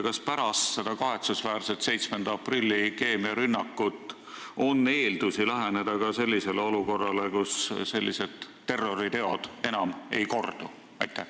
Kas pärast seda kahetsusväärset 7. aprilli keemiarünnakut on eeldusi läheneda ka sellisele olukorrale, kus sellised terroriteod enam ei kordu?